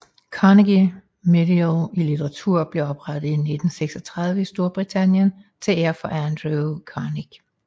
Carnegie Medal i litteratur blev oprettet i 1936 i Storbritannien til ære for Andrew Carnegie